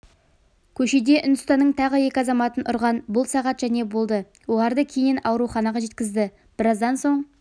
көшеде үндістанның тағы екі азаматын ұрған бұл сағат және болды оларды кейіннен ауруханаға жеткізді біраздан соң